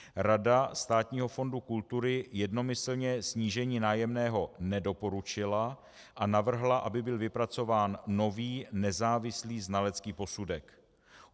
Rada Státního fondu kultury jednomyslně snížení nájemného nedoporučila a navrhla, aby byl vypracován nový, nezávislý znalecký posudek.